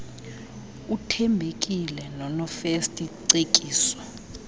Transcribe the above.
uthembekile nonofirst cekiso